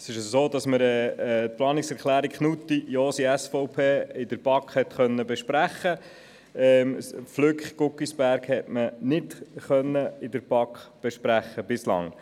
der BaK. Die BaK konnte die Planungserklärung Knutti/Josi, SVP, besprechen, die Planungserklärung Flück/Guggisberg hingegen nicht.